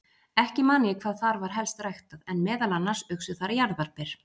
Ekki man ég hvað þar var helst ræktað, en meðal annars uxu þar jarðarber.